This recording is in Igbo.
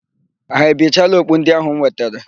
Ha ebichela okpu ndị áhụ̀ m wetere?